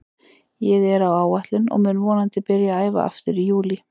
Ég er á áætlun og mun vonandi byrja að æfa aftur í júlí.